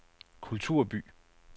kulturby